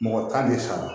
Mɔgɔ tan de sara